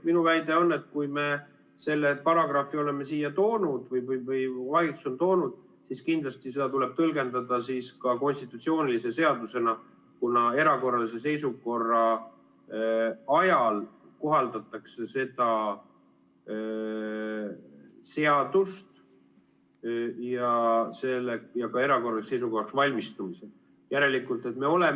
Minu väide on, et kui me selle paragrahvi oleme siia toonud või valitsus on toonud, siis kindlasti seda tuleb tõlgendada ka konstitutsioonilise seadusena, kuna erakorralise seisukorra ajal ja ka erakorraliseks seisukorraks valmistumisel kohaldatakse seda seadust.